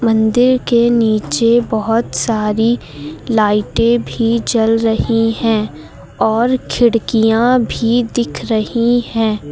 मंदिर के नीचे बोहोत सारी लाइटें भी जल रही हैं और खिड़कियां भी दिख रही हैं।